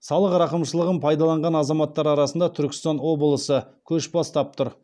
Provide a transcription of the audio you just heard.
салық рақымшылығын пайдаланған азаматтар арасында түркістан облысы көш бастап тұр